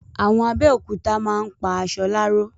Àwọn Abẹ́òkúta máa ń pa aṣọ láró